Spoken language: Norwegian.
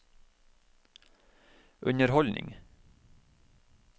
underholdning